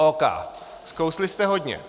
OK, skousli jste hodně.